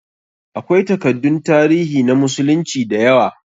Akwai takaddun tarihi na musulunci da yawa.